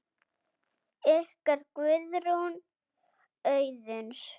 Ykkar, Guðrún Auðuns.